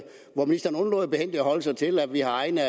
forholde sig til at vi har egne